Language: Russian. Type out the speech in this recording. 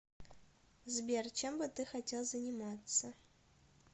сбер чем бы ты хотел заниматься